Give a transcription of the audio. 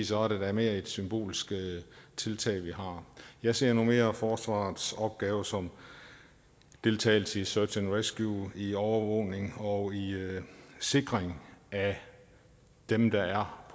så er det da mere et symbolsk tiltag vi har jeg ser nu mere forsvarets opgave som deltagelse i search and rescue i overvågning og i sikring af dem der er